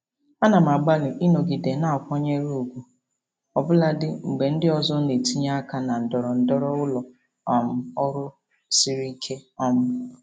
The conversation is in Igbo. Ana m agbalị ịnọgide na-akwanyere ùgwù ọbụlagodi mgbe ndị ọzọ na-etinye aka na ndọrọndọrọ ụlọ um ọrụ siri ike. um